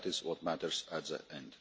That is what matters in